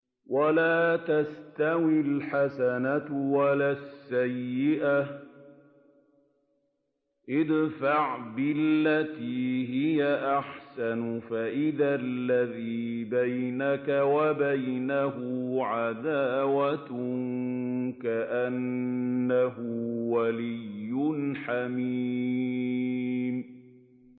وَلَا تَسْتَوِي الْحَسَنَةُ وَلَا السَّيِّئَةُ ۚ ادْفَعْ بِالَّتِي هِيَ أَحْسَنُ فَإِذَا الَّذِي بَيْنَكَ وَبَيْنَهُ عَدَاوَةٌ كَأَنَّهُ وَلِيٌّ حَمِيمٌ